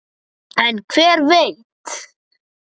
En hver veit!